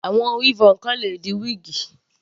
Àwọn weavon kan le di wíígì.